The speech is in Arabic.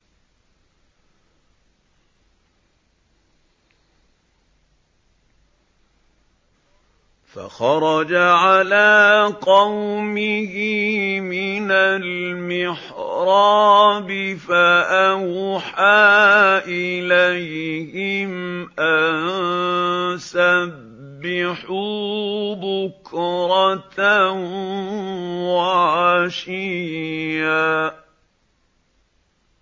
فَخَرَجَ عَلَىٰ قَوْمِهِ مِنَ الْمِحْرَابِ فَأَوْحَىٰ إِلَيْهِمْ أَن سَبِّحُوا بُكْرَةً وَعَشِيًّا